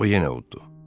O yenə uddu.